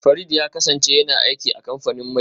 Farid ya kasance yana aiki a kamfanin mai